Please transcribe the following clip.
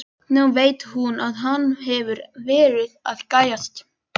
Nú veit hún að hann hefur verið að gægjast.